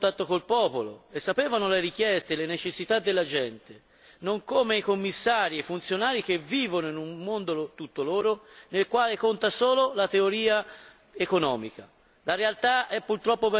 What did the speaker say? Questi, infatti, erano spesso a contatto con il popolo e sapevano le richieste e le necessità della gente, non come i Commissari e i funzionari che vivono in un mondo tutto loro, nel quale conta solo la teoria economica.